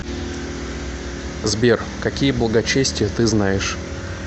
сбер какие благочестие ты знаешь